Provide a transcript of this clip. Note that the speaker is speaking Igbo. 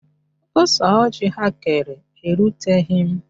Ose ọjị ha kere eruteghi m